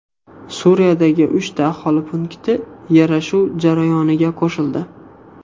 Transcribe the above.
Suriyadagi uchta aholi punkti yarashuv jarayoniga qo‘shildi.